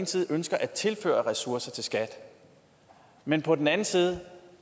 side ønsker at tilføre ressourcer til skat men på den anden side